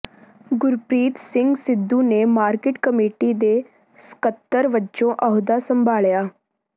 ਗੁਰਪ੍ਰੀਤ ਸਿੰਘ ਸਿੱਧੂ ਨੇ market committee ਦੇ ਸਕੱਤਰ ਵਜੋਂ ਅਹੁਦਾ ਸੰਭਾਲਿਆ